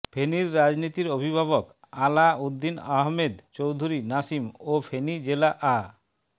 ফেনীর রাজনীতির অভিভাবক আলা উদ্দিন আহমেদ চৌধুরী নাসিম ও ফেনী জেলা আ